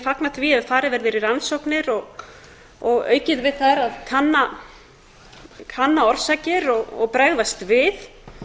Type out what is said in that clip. fagna því ef farið verður í rannsóknir og aukið við þær að kanna orsakir og bregðast við